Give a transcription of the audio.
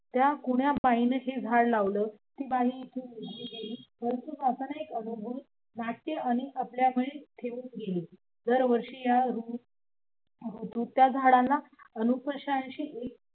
त्या कुण्या बाईन हे झाड लावलं ती बाई इथून निघून गेली एक अदभूत नाट्य आणि ठेवून गेली. उगत्या झाडांना